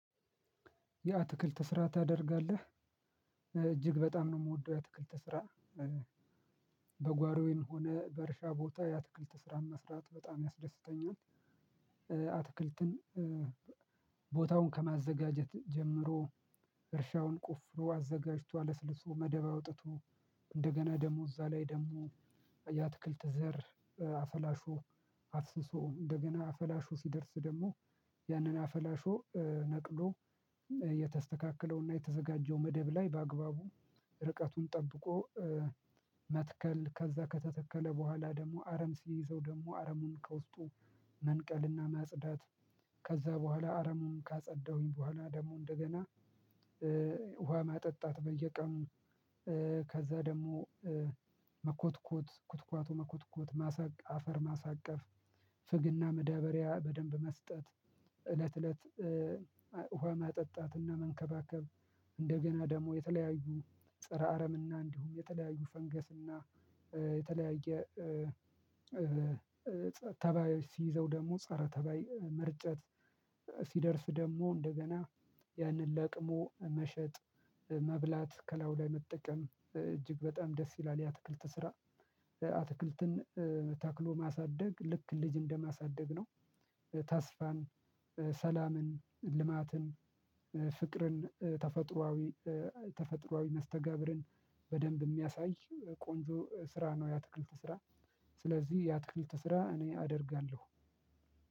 የአትክልት ስራ ታደርጋለህ እጅግ በጣም ነው የምወደው የአትክልት ስራ። በጓሮዬም ሆነ በእርሻ ቦታ የአትክልት ስራን መስራት በጣም ያስደስተኛል። አትክልትን ቦታውን ከማዘጋጀት ጀምሮ እርሻውን ቆፍሮ አዘጋጅቶ አለስልሶ መደብ አውጥቶ እንደገና ደሞ እዛ ላይ ደሞ የአትክልት ዘር አፈላሹ አፍስሶ እንደገና አፈላሹ ሲደርስ ደግሞ ያንን አፈላሹ ነቅሎ የተስተካከለውና የተዘጋጀው መደብ ላይ በአግባቡ ርቀቱን ጠብቆ መትከል ከዛ ከተተከለ በኋላ ደግሞ አረም ሲይዘው ደግሞ አረሙን ከውስጡ መንቀልና ማጽዳት ከዛ በኋላ አረሙን ካጸዳሁኝ በኋላ ደግሞ እንደገና ውሃ ማጠጣት በየቀኑ ከዛ ደግሞ መኮትኮት ኩትኳቶ መኮትኮት ማሳ አፈር ማሳቀፍ ፍግና መዳበሪያ በደንብ መስጠት እለት እለት ውሃ ማጠጣትና መንከባከብ እንደገና ደግሞ የተለያዩ ፀረ አረምና እንዲሁም የተለያዩ ፈንገስና የተለያየ ተባዮች ሲይዘው ደግሞ ፀረ ተባይ መርጨት ሲደርስ ደግሞ እንደገና ያንን ለቅሞ መሸጥ መብላት ከላዩ ላይ መጠቀም እጅግ በጣም ደስ ይላል የአትክልት ስራ። አትክልትን ተክሎ ማሳደግ ልክ ልጅ እንደማሳደግ ነው። ተስፋን ሰላምን ልማትን ፍቅርን ተፈጥሮአዊ ተፈጥሮአዊ መስተጋብርን በደንብ የሚያሳይ ቆንጆ ስራ ነው የአትክልት ስራ። ስለዚህ የአትክልት ስራ እኔ አደርጋለሁ።